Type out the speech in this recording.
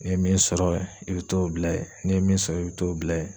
N'i ye min sɔrɔ ye i bɛ t'o bila ye n'i ye min sɔrɔ i bɛ t'o bila ye.